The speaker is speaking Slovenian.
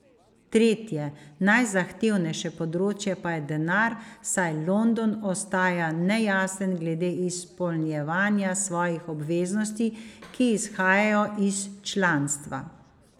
Tretje, najzahtevnejše področje pa je denar, saj London ostaja nejasen glede izpolnjevanja svojih obveznosti, ki izhajajo iz članstva.